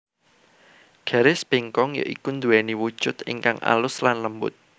Garis bengkong ya iku nduweni wujud ingkang alus lan lembut